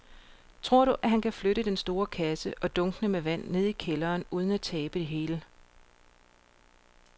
Tror du, at han kan flytte den store kasse og dunkene med vand ned i kælderen uden at tabe det hele?